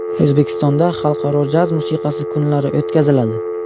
O‘zbekistonda xalqaro jaz musiqasi kunlari o‘tkaziladi.